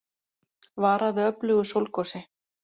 Varað við öflugu sólgosi